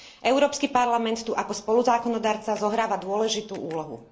Európsky parlament tu ako spoluzákonodarca zohráva dôležitú úlohu.